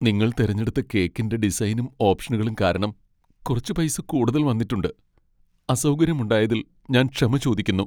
നിങ്ങൾ തിരഞ്ഞെടുത്ത കേക്കിന്റെ ഡിസൈനും ഓപ്ഷനുകളും കാരണം കുറച്ച് പൈസ കൂടുതൽ വന്നിട്ടുണ്ട്. അസൗകര്യം ഉണ്ടായതിൽ ഞാൻ ക്ഷമ ചോദിക്കുന്നു.